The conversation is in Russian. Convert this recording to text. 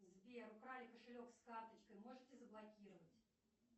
сбер украли кошелек с карточкой можете заблокировать